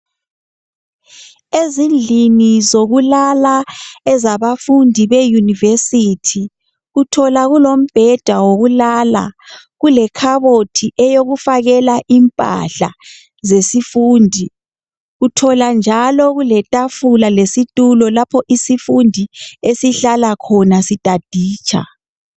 Ezindlini zokulala ezabafundi be yunivesithi, uthola kulombheda wokulala kule lekhabothi eyokufakela impahla zesifundi uthola njalo kule tafula lesitulo lapho isifundi esihlala khona sitaditsha.